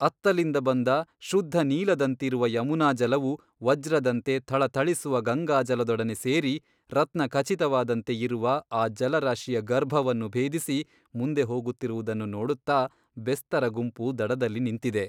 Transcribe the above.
ಅತ್ತಲಿಂದ ಬಂದ ಶುದ್ಧ ನೀಲದಂತಿರುವ ಯಮುನಾಜಲವು ವಜ್ರದಂತೆ ಥಳಥಳಿಸುವ ಗಂಗಾಜಲದೊಡನೆ ಸೇರಿ ರತ್ನಖಚಿತವಾದಂತೆ ಇರುವ ಆ ಜಲರಾಶಿಯ ಗರ್ಭವನ್ನು ಭೇದಿಸಿ ಮುಂದೆ ಹೋಗುತ್ತಿರುವುದನ್ನು ನೋಡುತ್ತಾ ಬೆಸ್ತರ ಗುಂಪು ದಡದಲ್ಲಿ ನಿಂತಿದೆ.